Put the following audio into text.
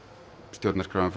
stjórnarskráin